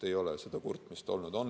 Ei ole seda kurtmist olnud.